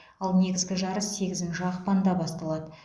ал негізгі жарыс сегізінші ақпанда басталады